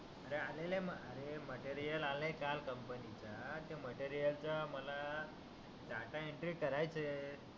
अरे आलेल आहे अरे मटेरियल आल आहे काल कंपनी चा तो मटेरियल च मला डाटा एंट्री करायच आहे